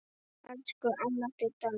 Elsku amma Didda mín.